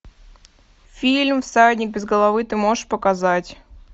фильм всадник без головы ты можешь показать